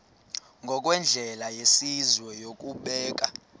ngokwendlela yesizwe yokubeka